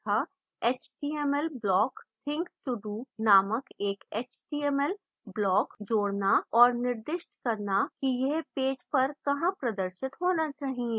इस tutorial में हमने सीखा html block things to do नामक एक html block जोड़ना और निर्दिष्ट करना कि यह पेज पर कहां प्रदर्शित होना चाहिए